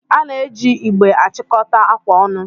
A na-eji igbe achịkọta akwa ọnụ.